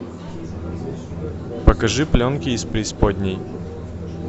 покажи пленки из преисподней